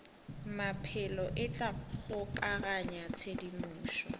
maphelo e tla kgokaganya tshedimošo